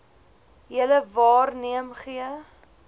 julle waarneem gee